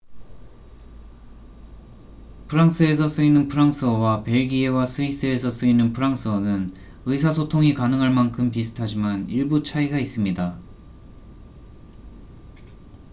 프랑스에서 쓰이는 프랑스어와 벨기에와 스위스에서 쓰이는 프랑스어는 의사소통이 가능할 만큼 비슷하지만 일부 차이가 있습니다